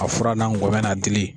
A fura n'a kɔmɛ n'a dili.